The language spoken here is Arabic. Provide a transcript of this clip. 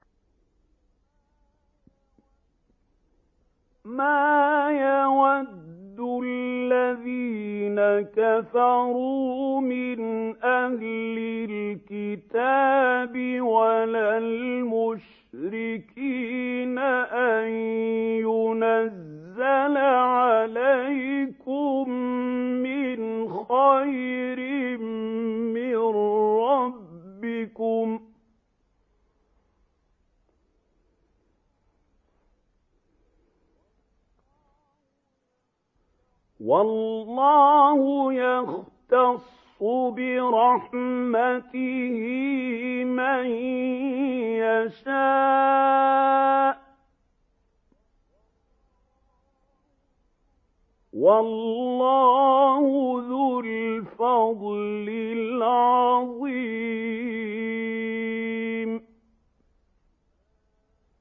مَّا يَوَدُّ الَّذِينَ كَفَرُوا مِنْ أَهْلِ الْكِتَابِ وَلَا الْمُشْرِكِينَ أَن يُنَزَّلَ عَلَيْكُم مِّنْ خَيْرٍ مِّن رَّبِّكُمْ ۗ وَاللَّهُ يَخْتَصُّ بِرَحْمَتِهِ مَن يَشَاءُ ۚ وَاللَّهُ ذُو الْفَضْلِ الْعَظِيمِ